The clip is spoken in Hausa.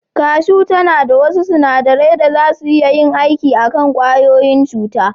Kashu tana da wasu sunadarai da zasu iya yin aiki a kan ƙwayoyin cuta.